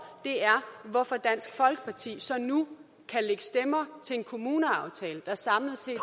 er hvorfor dansk folkeparti så nu kan lægge stemmer til en kommuneaftale der samlet set